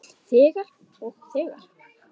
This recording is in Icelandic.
Þegir og þegir.